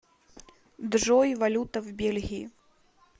джой валюта в бельгии